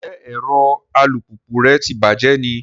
Njẹ ẹrọ alupupu rẹ tí bàjé ní?